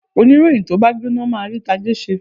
Oníròyìn tó bá gbóná máa rí tajé ṣe.